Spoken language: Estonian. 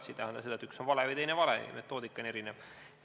See ei tähenda seda, et üks on vale või teine on vale, lihtsalt metoodika on erinev.